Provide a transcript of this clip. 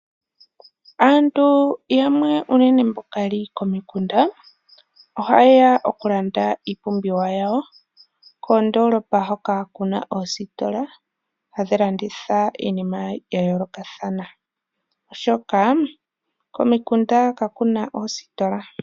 Aantu yamwe unene mboka yeli komikunda, oha yeya okulanda iipumbiwa yawo koondolopa hoka kuna oositola hadhi landitha iinima ya yoolokathana, oshoka, komikunda kakuna oositola.